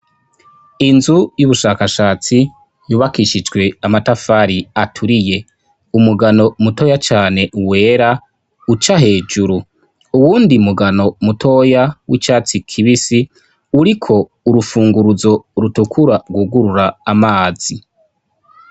inzu y'ubushakashatsi yubakishijwe amatafari aturiye. umugano mutoya cane wera uca hejuru. uwundi mugano mutoya w'icatsi kibisi, uriko urufunguruzo rutukura rwugurura amazi.